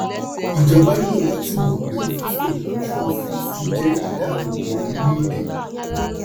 ìjọba nílò láti mọ̀ pé fífòlójú-òfurufú jẹ́ ìdáàbòbò orílẹ̀-èdè.